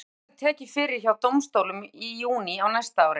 Málið verður tekið fyrir hjá dómstólum í júní á næsta ári.